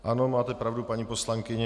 Ano, máte pravdu, paní poslankyně.